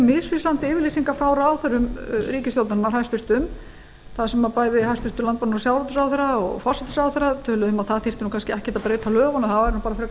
misvísandi yfirlýsingar frá ráðherrum ríkisstjórnarinnar hæstvirtur þar sem bæði hæstvirtan landbúnaðar og sjávarútvegsráðherra og forsætisráðherra töluðu um að það þyrfti nú kannski ekkert að breyta lögunum það væri nú bara frekar